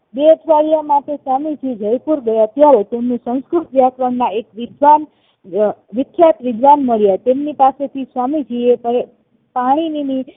બે અઠવાડિયા માટે સ્વામીજી જયપુર ગયા ત્યારે તેમની સંસ્કૃત વ્યાકરણ માં એક વિદ્વાન વિખ્યાત વિદ્વાન મળ્યા તેમની પાસેથી સ્વામીજી એ